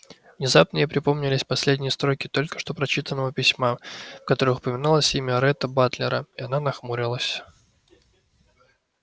внезапно ей припомнились последние строки только что прочитанного письма в которых упоминалось имя ретта батлера и она нахмурилась